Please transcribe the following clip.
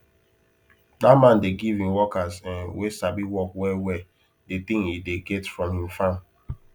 that man dey give him workers um wen sabi work well well the thing e dey get from him farm